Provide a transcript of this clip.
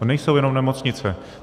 To nejsou jenom nemocnice.